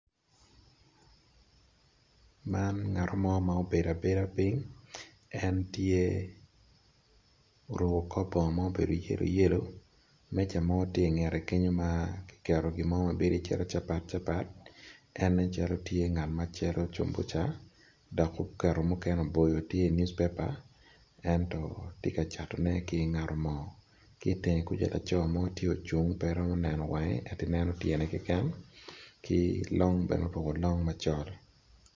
Man ngat mo ma obedo piny oruko bongo ma yelo dok cato cumbuca tye ka catone ki ngat mo en oruko long macol